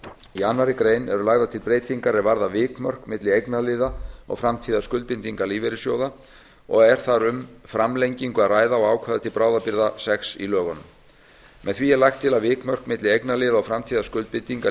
í annarri grein eru lagðar til breytingar er varða vikmörk milli eignarliða og framtíðarskuldbindinga lífeyrissjóða og er þar um framlengingu að ræða á ákvæði til bráðabirgða sex í lögunum með því er lagt til að vikmörk milli eignarliða og framtíðarskuldbindinga